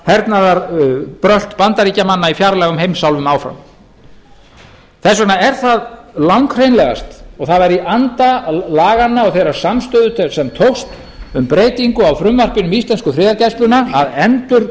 eða hernaðarbrölt bandaríkjamanna í fjarlægum heimsálfum áfram þess vegna er það langhreinlegast og það væri í anda laganna og þeirrar samstöðu sem tókst um breytingu á frumvarpinu um íslensku friðargæsluna að